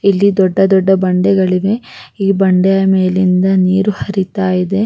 ಇದು ಬಾಳ ಚೆನ್ನಾಗಿತ್ತು ನಾವ್ ಯಾವಾಗ್ಲೂ ನೋಡಿರ್ಲಿಲ್ಲ ಮಕ್ಳು ಕರ್ಕಂಡ್ ಹೋಗೋಕ್ ಹೋಗಿ ನೋಡ್ ದೋ.